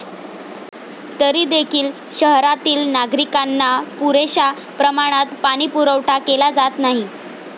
तरी देखील शहरातील नागरिकांना पुरेशा प्रमाणात पाणीपुरवठा केला जात नाही.